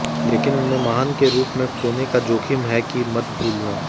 लेकिन उन्हें महान के रूप में खोने का जोखिम है कि मत भूलना